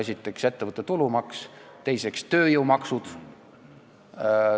Esiteks, ettevõtte tulumaks, teiseks, tööjõumaksud.